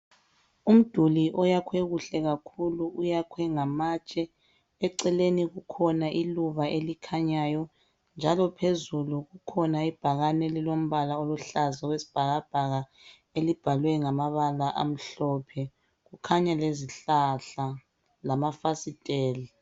umduli owakhwe kahle kakhulu uyakhwe ngamatshe eceleni likhona iluba elikhnyayo njalo phezulu kukhona ibhakane eliluhlaza okwesibhakabhaka elibhalwe ngamabala amhlophe kukhanya lezihlahla lama fastela